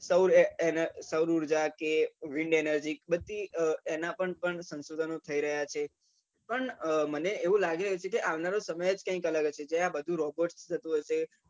સૌર ઉર્જા કે વિન્ડ energy એના પણ સંસોધન થઇ રહ્યા છે પણ મને એવું લાગે છે આવનારો સમય કઈ અલગ હશે જ્યાં બધું robot થી થતું હશે